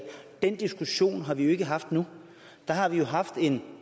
den diskussion har vi jo ikke haft nu der har vi jo haft en